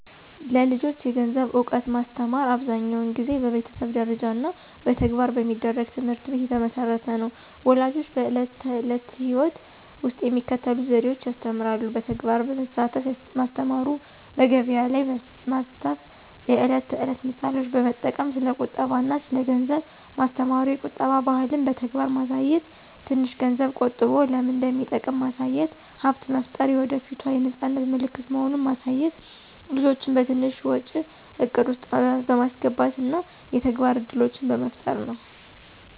ለልጆች የገንዘብ እውቀት ማስተማር አብዛኛውን ጊዜ በቤተሰብ ደረጃ እና በተግባር በሚደረግ ትምህርት ላይ የተመሠረተ ነው። ፣ ወላጆች በዕለት ተዕለት ሕይወት ውስጥ በሚከተሉት ዘዴዎች ያስተምራሉ። በተግባር በማሳተፍ ማስተማሩ፣ በገቢያ ላይ ማስተፍ፣ የዕለት ተዕለት ምሳሌዎች በመጠቅም ስለ ቁጠባ አና ስለ ገንዘብ ማስተማሩ፣ የቁጠባ ባህልን በተግባር ማሳየት፣ ትንሽ ገንዝብ ቆጠቦ ለምን እንደሚጠቅም ማሳየት፣ ሀብት መፍጠር የወደፏት የነፃነት ምልክት መሆኑን ማሳየት፣ ልጆችን በትንሽ ወጪ እቅድ ውስጥ በማስገባት እና የተግባር እድሎችን በመፍጠር ነው።